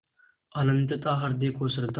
अनंतता हृदय को श्रद्धा